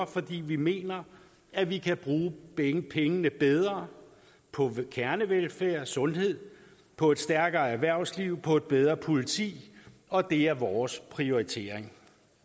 fordi vi mener at vi kan bruge pengene bedre på kernevelfærd sundhed på et stærkere erhvervsliv på et bedre politi og det er vores prioritering